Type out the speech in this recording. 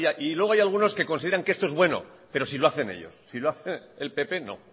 y luego hay algunos que considera que esto es bueno pero si lo hacen ellos si lo hace el pp no